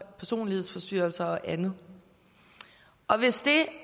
personlighedsforstyrrelser og andet og hvis det